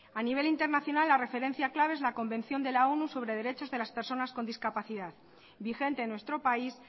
a nivel internacional la referencia clave es la convención de la onu sobre derechos de las personas con discapacidad vigente en nuestro país